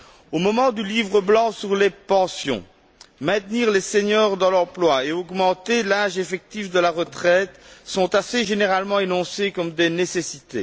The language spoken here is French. Au moment du Livre blanc sur les pensions, maintenir les seniors dans l'emploi et augmenter l'âge effectif de la retraite sont assez généralement énoncés comme des nécessités.